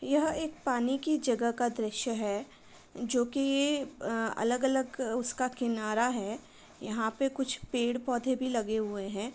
यह एक पानी की जगह का दृश्य है जो कि अ अलग अलग उसका किनारा है। यहाँ पे कुछ पेड़ पौधे भी लगे हुए हैं।